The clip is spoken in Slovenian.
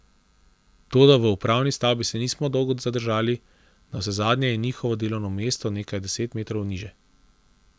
Toda v upravni stavbi se nismo dolgo zadržali, navsezadnje je njihovo delovno mesto nekaj deset metrov niže.